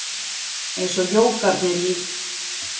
Eins og jógarnir í